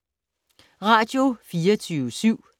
Radio24syv